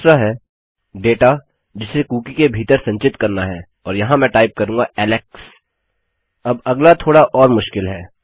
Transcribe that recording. दूसरा है डेटा जिसे कुकी के भीतर संचित करना है और यहाँ मैं टाइप करूँगा एलेक्स अब अगला थोड़ा और मुश्किल है